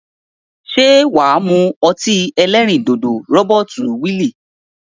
Se waa mu oti elerin dodo Robert Weil?